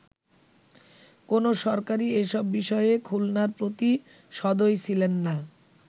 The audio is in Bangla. কোন সরকারই এসব বিষয়ে খুলনার প্রতি সদয় ছিলেননা”।